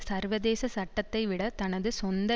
சர்வதேச சட்டத்தைவிட தனது சொந்த